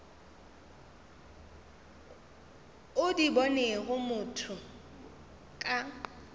o di bonego motho ka